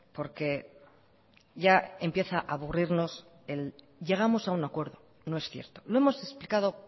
porque ya empieza a aburrirnos el llegamos a un acuerdo no es cierto lo hemos explicado